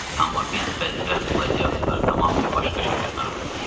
Amma biz bədbəxt qladiatorları tamamilə başqa şeylər narahat eləyir.